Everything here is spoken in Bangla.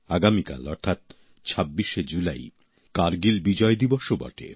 আগামীকাল অর্থাৎ ২৬শে জুলাই কারগিল বিজয় দিবসও বটে